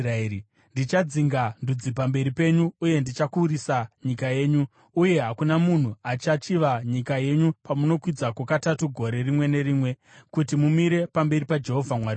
Ndichadzinga ndudzi pamberi penyu uye ndichakurisa nyika yenyu, uye hakuna munhu achachiva nyika yenyu pamunokwidzako katatu gore rimwe nerimwe, kuti mumire pamberi paJehovha Mwari wenyu.